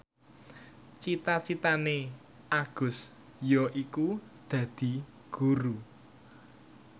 cita citane Agus yaiku dadi guru